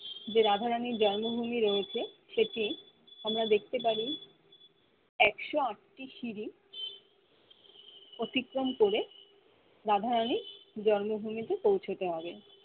যে রাধা রানি জন্ম ভূমির রয়েছে সেটি আমরা দেখতে পারি একশো আটটি সিড়ি অতিক্রম করে রাধা রানি জন্ম ভুমিতে পৌছে দেওয়ে হবে